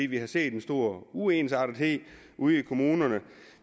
vi har set en stor uensartethed ude i kommunerne